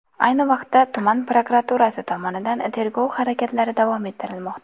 Ayni vaqtda tuman prokuraturasi tomonidan tergov harakatlari davom ettirilmoqda.